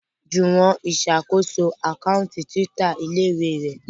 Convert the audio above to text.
Juwon ìsàkóso Àkáùntì Twitter ilé-ìwé rẹ.